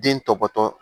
Den tɔbɔtɔ